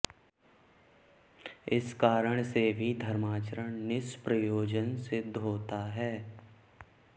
इस कारण से भी धर्माचरण निष्प्रयोजन सिद्ध होता है